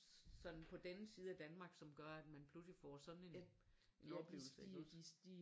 Sådan på den side af Danmark som gør at man pludselig får sådan en en oplevelse ik også